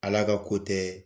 Ala ka ko tɛ